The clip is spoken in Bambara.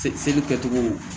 Seli kɛcogo